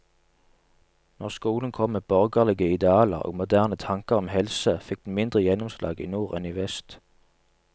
Når skolen kom med borgerlige idealer og moderne tanker om helse, fikk den mindre gjennomslag i nord enn i vest.